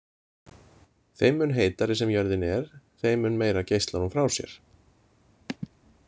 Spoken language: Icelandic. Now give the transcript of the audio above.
Þeim mun heitari sem jörðin er þeim mun meira geislar hún frá sér.